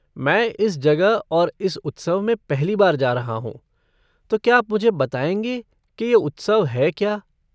मैं इस जगह और इस उत्सव में पहली बार जा रहा हूँ तो क्या आप मुझे बताएँगे कि ये उत्सव है क्या?